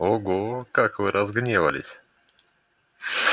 ого как вы разгневались